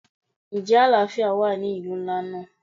Ǹjẹ́ àlàáfíà wà ní ìlú ńlá náà?